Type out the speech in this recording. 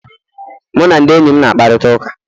Mụ na ndị enyi m na-akparịta ụka